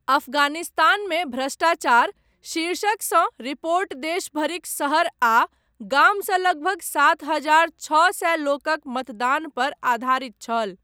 अफगानिस्तानमे भ्रष्टाचार' शीर्षक सँ रिपोर्ट देश भरिक शहर आ गाम सँ लगभग सात हजार छओ सए लोकक मतदान पर आधारित छल।